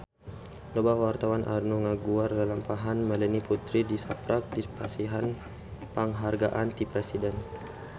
Loba wartawan anu ngaguar lalampahan Melanie Putri tisaprak dipasihan panghargaan ti Presiden